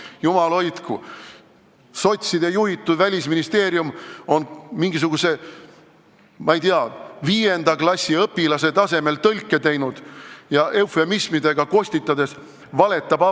Jumal hoidku, sotside juhitud Välisministeerium on mingisuguse viienda klassi õpilase tasemel tõlke teinud ja valetab avalikkusele, kostitades teda eufemismidega.